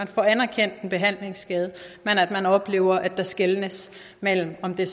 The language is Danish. får anerkendt en behandlingsskade men oplever at der skelnes mellem om det